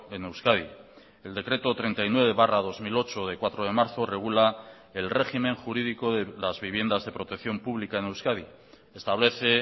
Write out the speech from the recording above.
en euskadi el decreto treinta y nueve barra dos mil ocho de cuatro de marzo regula el régimen jurídico de las viviendas de protección pública en euskadi establece